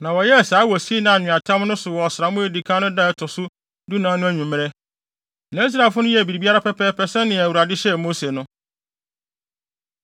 na wɔyɛɛ saa wɔ Sinai Nweatam no so wɔ ɔsram a edi kan no da a ɛto so dunan no anwummere. Na Israelfo no yɛɛ biribiara pɛpɛɛpɛ sɛnea Awurade hyɛɛ Mose no.